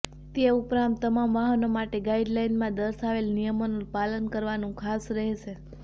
તે ઉપરાંત તમામ વાહનો માટે ગાઇડ લાઇનમાં દર્શાવેલ નિયમોનું પાલન કરવાનું ખાસ રહેશે